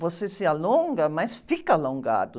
Você se alonga, mas fica alongado.